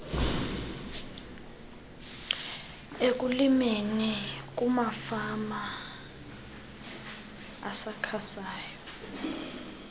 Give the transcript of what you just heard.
ekulimeni kwamafama asakhasayo